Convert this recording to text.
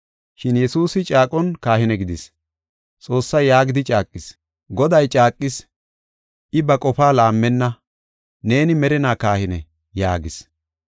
Shin Yesuusi caaqon kahine gidis. Xoossay yaagidi caaqis; “Goday caaqis; I ba qofaa laammenna; ‘Neeni merinaa kahine’ ” yaagis.